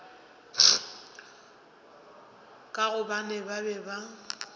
ka gobane ba be ba